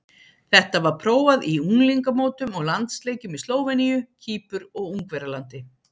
Þetta var prófað í unglingamótum og landsleikjum í Slóveníu, Kýpur og Ungverjalandi.